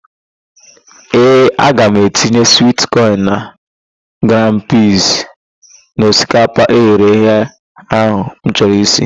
Ee, aga m etinye swit kọn na grin piiz n'osikapa eghereghe ahụ m chọrọ isi.